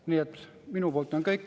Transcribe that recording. Nii et minu poolt on kõik.